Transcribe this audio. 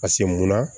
Paseke munna